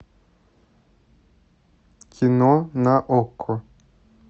кино на окко